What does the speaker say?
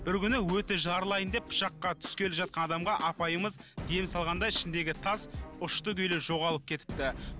бір күні өті жарылайын деп пышаққа түскелі жатқан адамға апайымыз ем салғанда ішіндегі тас ұшты күйлі жоғалып кетіпті